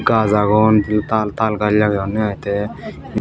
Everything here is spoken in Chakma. gaj agon taal gaj lageyunne aai te.